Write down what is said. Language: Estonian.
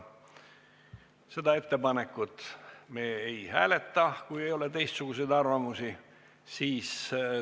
Seda ettepanekut me ei hääleta, kui ei ole teistsuguseid arvamusi.